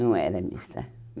Não era mista.